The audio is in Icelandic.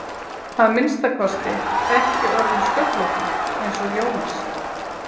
að minnsta kosti ekki orðinn sköllóttur eins og Jónas.